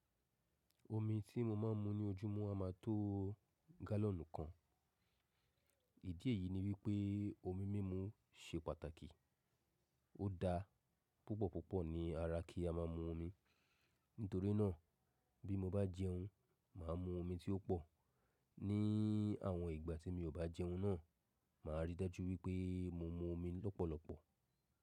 Omi tí mo máa ń mu ní ojúmọ́ a máa tó gálọ̀nù kan. Ìdí èyí ni wípé omi mímu se pàtàkì. Ó da púpọ̀púpọ̀ ní ara kí a máa mu omi. Nítorínà bí mo bá jẹun, màá mu omi tí ó pọ̀. Ni àwọn ìgbà tí mi ò bá jẹun náà, màá ríi dájú wípé mo mu omi lọ́pọ̀lọpọ̀.